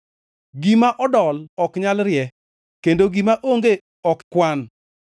Gima odol ok nyal rie; kendo gima onge ok kwan.